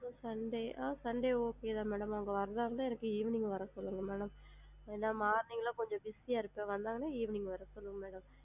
Sunday ஆ sunday okay தாங்க madam அவுங்க வரதா இருந்தா எனக்கு evening வர சொல்லுங்க ma'am ஏன்னா? morning னா கொஞ்சம் busy யா இருப்பேன் வந்தாங்கண்ணா evening வர சொல்லுங்க?